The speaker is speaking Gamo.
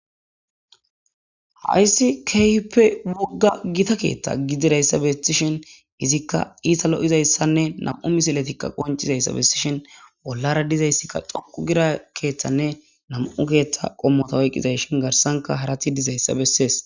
Hayssi kehippe wogga gita keeththa gidirayssa bessishen hizikka iita lo7izayssanne nam7u misiletikka qoncizayssa bessishen bollara dizayssikka xoqu gira keeththanne nam7u keeththa qommota oyqqizayshin garsanka harati dizayssa bessees